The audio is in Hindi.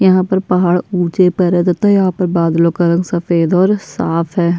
यहाँ पर पहाड़ ऊँचे पर्वत है तथा यहाँ पर बदलो का रंग सफ़ेद और साफ़ है।